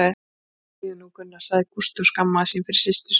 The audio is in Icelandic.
Þegiðu nú, Gunna sagði Gústi og skammaðist sín fyrir systur sína.